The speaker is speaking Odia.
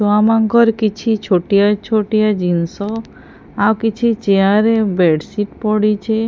ଛୁଆ ମାନଙ୍କର କିଛି ଛୋଟିଆ ଛୋଟିଆ ଜିନିଷ ଆଉ କିଛି ଚେୟାର ବେଡସିଟ ପଡ଼ିଛି।